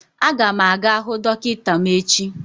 A ga m aga hụ dọkịta m echi